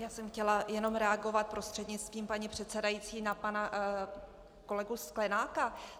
Já jsem chtěla jen reagovat prostřednictvím paní předsedající na pana kolegu Sklenáka.